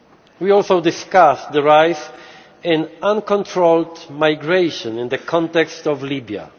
We also discussed the rise in uncontrolled migration in the context of Libya.